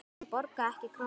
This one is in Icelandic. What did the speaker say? Hann borgaði ekki krónu.